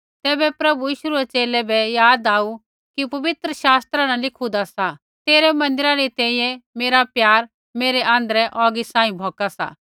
तैबै प्रभु यीशु रै च़ेले बै याद आऊ कि पवित्र शास्त्रा न लिखुदा सा तेरै मन्दिरा री तैंईंयैं मेरा प्यार मेरै आँध्रै औगी सांही भौक्का सा